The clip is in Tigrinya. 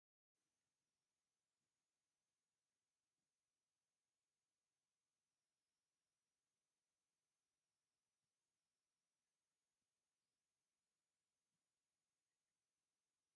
እዚ ተክሊ እዚ ብጣዕሚ ደስ ዝብለካ ተክሊ እዩ። እዚ ተክሊ እዚ ኣምፕል ማንጎ ይበሃል። እዚ ኣምፕል ማንጎ እዚ ኣብ ሓደ ኦም ቡዙሕ ፍረ ክሕዝ ይክእል እዩ።